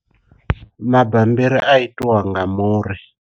Mabambiri a itiwa nga muri.